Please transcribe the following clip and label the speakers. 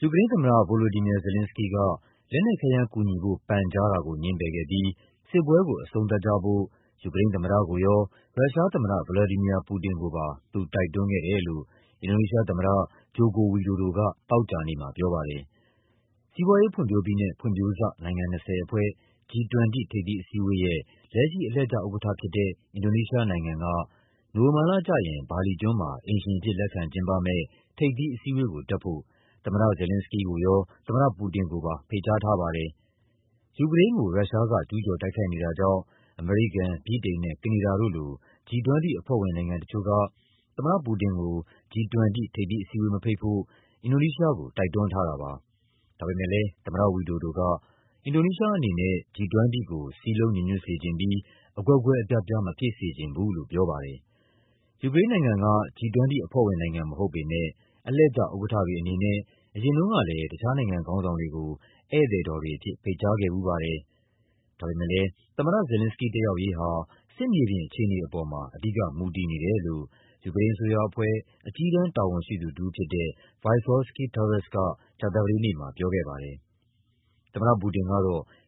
Speaker 1: ယူကရိန်းသမ္မတ Volodymyr Zelenskyy က လက်နက်ခဲယမ်းကူညီဖို့ ပန်ကြားတာကို ငြင်းပယ်ခဲ့ပြီး စစ်ပွဲကို အဆုံးသတ်ကြဖို့ ယူကရိန်းသမ္မတကိုရော ရုရှားသမ္မတ ဗလာဒီမီယာ ပူတင်ကိုပါ သူတိုက်တွန်းခဲ့တယ်လို့ အင်ဒိုနီးရှားသမ္မတ ဂျိုကို ဝီဒိုဒိုက သောကြာနေ့မှာ ပြောပါတယ်။ စီးပွားရေးဖွံ့ဖြိုးပြီးနဲ့ ဖွံ့ဖြိုးစနိုင်ငံ ၂၀ အဖွဲ့ (G20) ထိပ်သီးအစည်းအဝေးရဲ့ လက်ရှိ အလှည့်ကျဥက္ကဋ္ဌဖြစ်တဲ့ အင်ဒိုနီးရှားနိုင်ငံက နိုဝင်ဘာလကျရင် ဘာလီကျွန်းမှာ အိမ်ရှင်အဖြစ် လက်ခံကျင်းပမယ့် ထိပ်သီးအစည်းအဝေးကို တက်ဖို့ သမ္မတ Zelenskyy ကိုရော သမ္မတပူတင်ကိုပါ ဖိတ်ကြားထားပါတယ်။ ယူကရိန်းကို ရုရှားက ကျူးကျော်တိုက်ခိုက်နေတာကြောင့် အမေရိကန်၊ ဗြိတိန်နဲ့ ကနေဒါတို့လို G20 အဖွဲ့ဝင်နိုင်ငံတချို့က သမ္မတပူတင်ကို G20 ထိပ်သီးအစည်းအဝေးမဖိတ်ဖို့ အင်ဒိုနီးရှားကို တိုက်တွန်းထားတာပါ။ ဒါပေမဲ့ သမ္မတဝီဒိုဒိုက အင်ဒိုနီးရှားအနေနဲ့ G20 ကို စည်းလုံးညီညွတ်စေပြီး အကွဲကွဲအပြားပြား မဖြစ်စေချင်ဘူးလို့ ပြောပါတယ်။ ယူကရိန်းနိုင်ငံက G20 အဖွဲ့ဝင်နိုင်ငံ မဟုတ်ပေမဲ့ အလှည့်ကျဥက္ကဋ္ဌတွေ အနေနဲ့ အရင်တုန်းကလည်း တခြားနိုင်ငံခေါင်းဆောင်တွေကို ဧည့်သည်တော်တွေအဖြစ် ဖိတ်ကြားခဲ့ဖူးပါတယ်။ ဒါပေမဲ့ သမ္မတ Zelenskyy တက်ရောက်ရေးဟာ စစ်မြေပြင် အခြေအနေပေါ်မှာ အဓိက မူတည်နေတယ်လို့ ယူကရိန်းအစိုးရအဖွဲ့ အကြီးတန်းတာဝန်ရှိသူတဦးဖြစ်တဲ့ Vysotskyi Taras က ကြာသပတေးနေ့မှာ ပြောခဲ့ပါတယ်။ သမ္မတပူတင်က